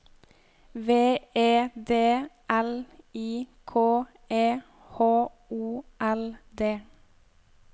V E D L I K E H O L D